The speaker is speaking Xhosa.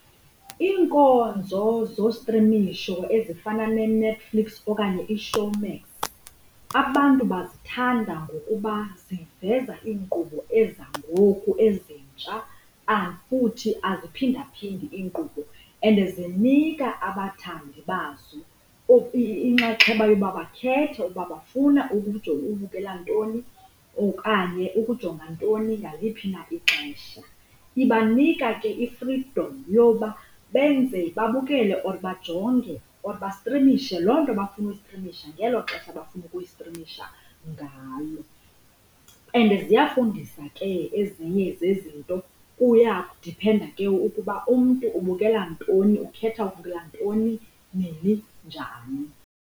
Iinkonzo zostrimisho ezifana neNetflix okanye iShowmax abantu bazithanda ngokuba ziveza iinkqubo ezangoku ezintsha futhi aziphindaphindi iinkqubo. And zinika abathandi bazo inkxaxheba yoba bakhethe uba bafuna ubukela ntoni okanye ukujonga ntoni ngaliphi na ixesha. Ibanika ke i-freedom yoba benze babukele or bajonge or bastrimishe loo nto bafuna uyistrimisha ngelo xesha bafuna ukuyistrimisha ngalo. And ziyafundisa ke ezinye zezinto kuyadiphenda ke ukuba umntu ubukela ntoni, ukhetha ukubukela ntoni nini njani.